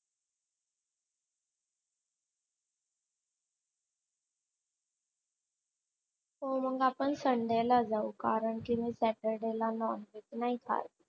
हो मग आपण sunday ला जाऊ कारण कि मी saturday ला मी नाही खात.